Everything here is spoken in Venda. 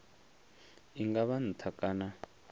i nga vha nṱha kana